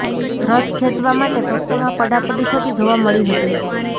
રથ ખેંચવા માટે ભક્તોમાં પડાપડી થતી જોવા મળી હતી